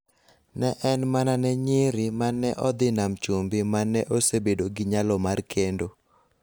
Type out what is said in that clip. ne en mana ne nyiri ma ne ni e dho nam chumbi ma ne osebedo gi nyalo mar kendo.